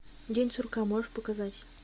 день сурка можешь показать